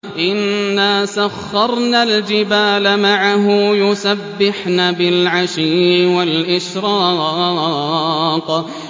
إِنَّا سَخَّرْنَا الْجِبَالَ مَعَهُ يُسَبِّحْنَ بِالْعَشِيِّ وَالْإِشْرَاقِ